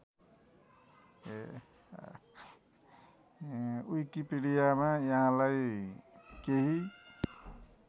विकिपीडियामा यहाँलाई केही